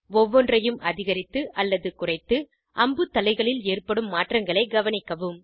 ஒவ்வொன்றையும் அதிகரித்து அல்லது குறைத்து அம்புத்தலைகளில் ஏற்படும் மாற்றங்களை கவனிக்கவும்